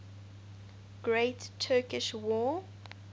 great turkish war